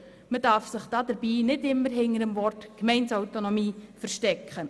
Man darf sich dabei nicht immer hinter dem Wort Gemeindeautonomie verstecken.